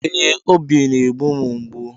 Ee, obi na-egbu m mgbu